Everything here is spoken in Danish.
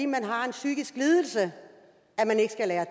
man har en psykisk lidelse